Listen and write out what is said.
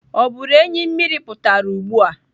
Ọ bụrụ enyi mmiri pụtara ugbu a?